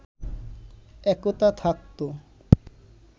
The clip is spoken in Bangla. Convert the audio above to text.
একতা থাকতো